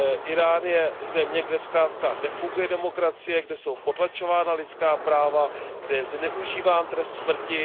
Írán je země, kde zkrátka nefunguje demokracie, kde jsou potlačována lidská práva, kde je zneužíván trest smrti.